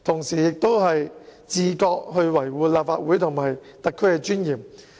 他也應自覺地維護立法會和特區的尊嚴。